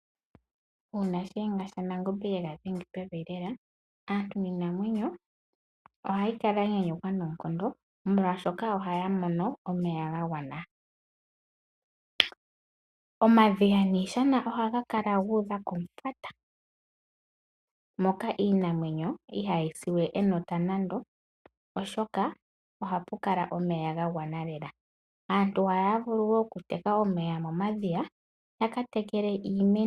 Uuna shiyenga shaNangombe ye ga dhenga pevi lela aantu niinamwenyo ohaya kala ya nyanyukwa noonkondo, molwashoka ohaya mono omeya ga gwana. Omadhiya niishana ohayi kala yu udha komufwata. Moka iinamwenyo ihaayi si we enota nando, oshoka ohapu kala omeya ga gwana lela. Aantu ohaya vulu wo okuteka omeya momadhiya ya ka tekele iimeno.